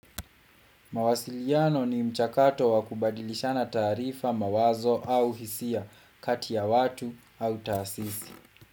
Mawasiliano ni mchakato wa kubadirishana taharifa mawazo au hisia kati ya watu au taasisi.